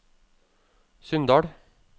Sunndal